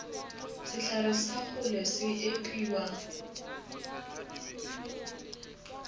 sehlare sa kgole se epiwa